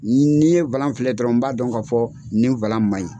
Ni ni ye filɛ dɔrɔn n b'a dɔn ka fɔ nin ma ɲi.